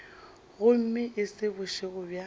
gomme e se bošego bja